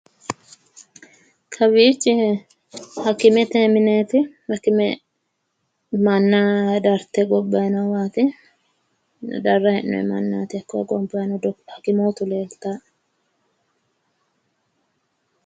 Kawiichi hakimete mineeti hakime manna darte gobbayi noowaati darrayi hee'noyi mannaati hakko hakimootu leeltaa'e